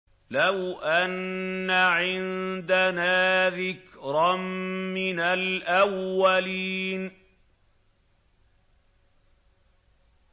لَوْ أَنَّ عِندَنَا ذِكْرًا مِّنَ الْأَوَّلِينَ